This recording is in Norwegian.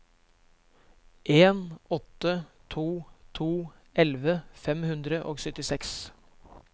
en åtte to to elleve fem hundre og syttiseks